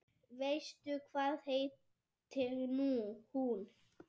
Veistu hvað heitir hún?